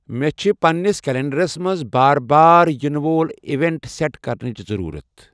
مے چِھ پننِس کلینڈَرس منز بار بار یینہٕ وۄل ایوینٹ سیٹ کرنٕچ ضرورت ۔